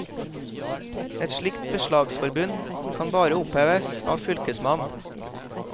Et slikt beslagsforbud kan bare oppheves av fylkesmannen.